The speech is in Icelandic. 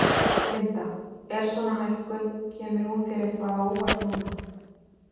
Linda: Er svona hækkun, kemur hún þér eitthvað á óvart núna?